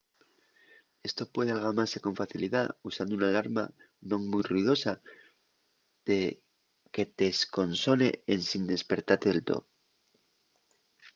esto puede algamase con facilidá usando una alarma non mui ruidosa que t’esconsone ensin espertate del too